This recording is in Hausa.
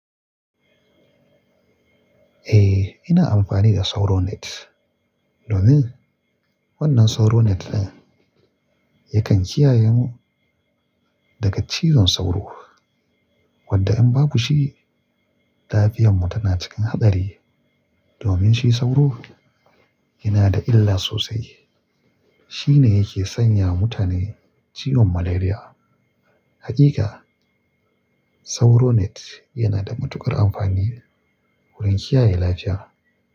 Eh, ina amfani da sauro net domin wannan sauro net din yakan kiyaye mu daga cizon sauro wanda in baku da shi lafiyanmu tana cikin haɗari. Domin shi sauro yana da illa sosai. Shi ne yake sanya mutane ciwon malaria. Hakika sauro net yana da matuƙar amfani wurin kiyaye lafiya.